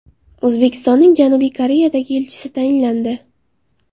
O‘zbekistonning Janubiy Koreyadagi elchisi tayinlandi.